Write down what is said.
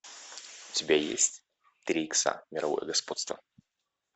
у тебя есть три икса мировое господство